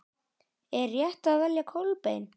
Er rétt að velja Kolbein?